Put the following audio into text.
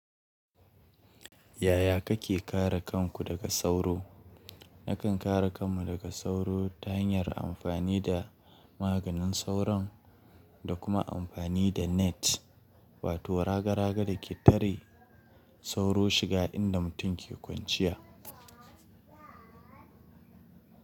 Yaya kake kare kanku daga sauro? Nakan kare kanmu daga sauro ta hanyar amfani da maganin sauron da kuma amfani da net, wato raga-raga da ke tare sauro shiga inda mutum ke kwanciya.